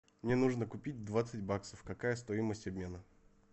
мне нужно купить двадцать баксов какая стоимость обмена